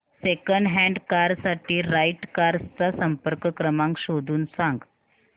second hand car साठी right cars चा संपर्क क्रमांक शोधून सांग